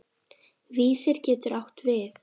Vísir getur átt við